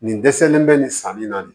Nin dɛsɛlen bɛ nin san min na nin ye